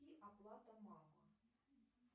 и оплата мама